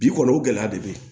Bi kɔni o gɛlɛya de be yen